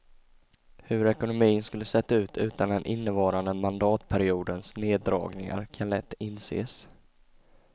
Hur ekonomin skulle sett ut utan den innevarande mandatperiodens neddragningar kan lätt inses.